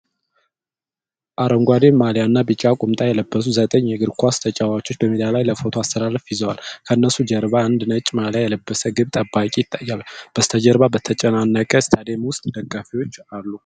አረንጓዴ ማልያና ቢጫ ቁምጣ የለበሱ ዘጠኝ የእግር ኳስ ተጫዋቾች በሜዳ ላይ ለፎቶ አሰላለፍ ይዘዋል። ከነሱ ጀርባ አንድ ነጭ ማልያ የለበሰ ግብ ጠባቂ ይታያል። በስተጀርባ በተጨናነቀ ስታዲየም ውስጥ ደጋፊዎች አሉ።